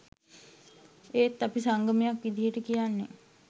ඒත් අපි සංගමයක් විදියට කියන්නේ